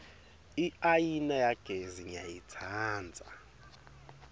iayina yagesi ngiyayitsandza